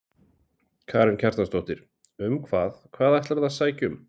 Karen Kjartansdóttir: Um hvað, hvað ætlarðu að sækja um?